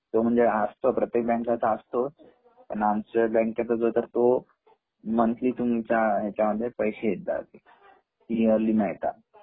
प्रत्येक बँक ला असता पण आमच्या बँकेचा आहे तर तो मंथली तुमच्या ह्याच्यामध्ये पैसे येत जातील